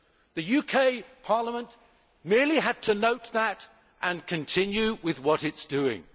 The UK Parliament merely had to note that and continue with what it was doing.